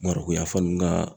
Mariko yan fan ninnu ka